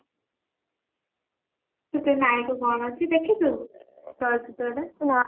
ସେଥିରେ ନାୟକ କଣ ଅଛି ଦେଖିଚୁ ଚଳଚିତ୍ରଟା